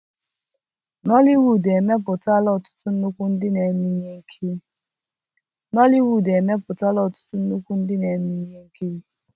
nollywood emepụtala ọtụtụ nnukwu ndị na-eme ihe nkiri.